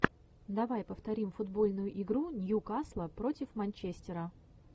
давай повторим футбольную игру ньюкасла против манчестера